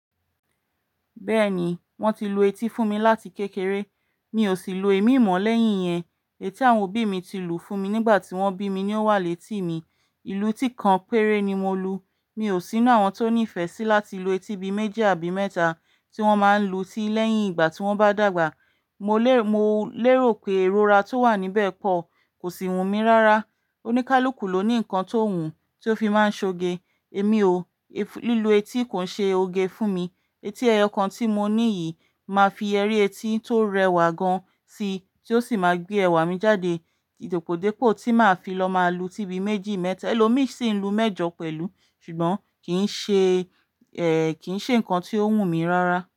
Bẹ́ẹ̀ni, wọ́n ti lu etí fún mi láti kékeré, mi ò sì lu èémí mo lẹ́yìn yẹn. Eyì ti àwọn òbí mi ti lù fún mi nígbà tí wọ́n bí mi ni ó wà létí mi. Ìlú tí kan péré ni mo lu. Mi ò sínú àwọn tó nífẹ̀ẹ́ sí láti lu etí bi méjì àbí mẹ́ta tí wọ́n máa ń lu ti lẹ́yìn ìgbà tí wọ́n bá dàgbà. Mò lè Mo lérò pé èrò rà tó wà níbẹ̀ pọ̀ kò sì wù mí rárá. Oníkálukú ló ní nǹkan tó wùn tí ó fi máa ń ṣoge. Èmi ò, lílu etí kò ń ṣe oge fún mi. Eti ẹyọ kan tí mo ní yìí máa fi yeri etí tó rẹwà gan sí tí ó sì máa gbé ẹwà mi jáde. Dípòdípò tí màá fi lọ máa lu tí bi méjì mẹ́ta, ẹlòmí sì ń lu mẹ́jọ pẹ̀lú ṣùgbọ́n kì ń ṣe, kì ń ṣe nǹkan tí ó wù mí rárá.